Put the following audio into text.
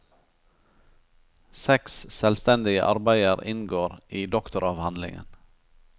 Seks selvstendige arbeider inngår i doktoravhandlingen.